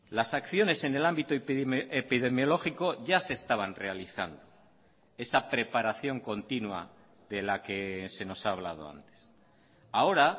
las acciones en el ámbito epidemiológico ya se estaban realizando esa preparación continua de la que se nos ha hablado antes ahora